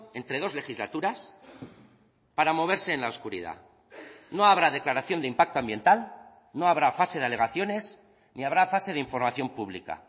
entre dos legislaturas para moverse en la oscuridad no habrá declaración de impacto ambiental no habrá fase de alegaciones ni habrá fase de información pública